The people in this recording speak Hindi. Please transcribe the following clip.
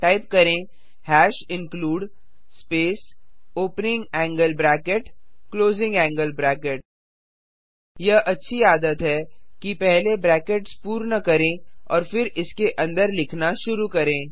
टाइप करें hash include space opening angle bracket closing angle bracket यह अच्छी आदत है कि पहले ब्रैकेट्स पूर्ण करें और फिर इसके अंदर लिखना शुरू करें